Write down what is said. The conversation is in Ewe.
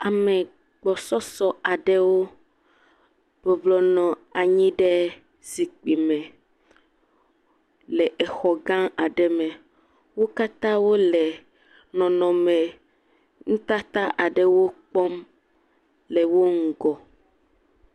ame gbɔsɔsɔ aɖewo bɔblɔ nɔ anyi ɖe zikpi me le exɔ gã aɖe me wókatã wole nɔnɔme ŋutata aɖewo kpɔm le wó ŋugɔ